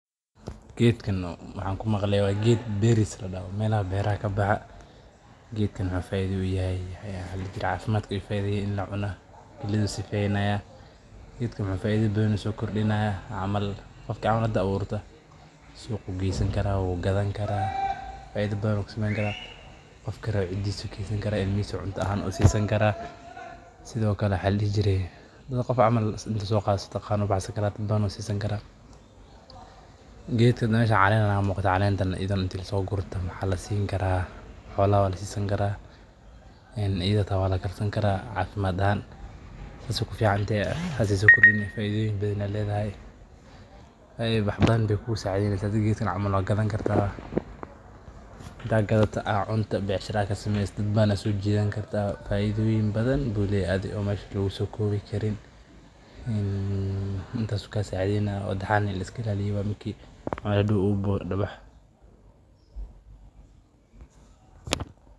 Gedkan maxan ku maqle waa geed beris ladaho maxu cafimaad u yahay faida uyahay in lacuno geedkan kiliyaha ayu sifenaya faida badan ayu sokordinaya ilmahisa ayu cunta ahan usisan karaa sas ayyey ku ficantahay hada geedkan camal waa gadani kartaa hada wax badan ayu marka aad ayu ufican yahay suqa ayu gesan kara faida badan ayu ka heli karaa maxaa lasini karaa xolaha aya lasisan karaa hada gedkan camal dad badan aya kuso jidan kartaa melaha u buxo.